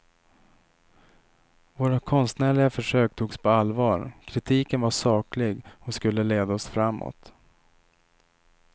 Våra konstnärliga försök togs på allvar, kritiken var saklig och skulle leda oss framåt.